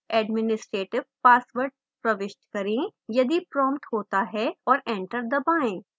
administrative password प्रविष्ट करें यदि prompted होता है और enter दबाएं